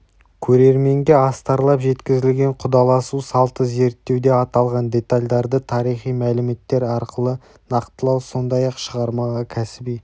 көрерменге астарлап жеткізілген құдаласу салты зерттеуде аталған детальдарды тарихи мәліметтер арқылы нақтылау сондай-ақ шығармаға кәсіби